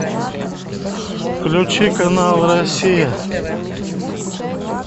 включи канал россия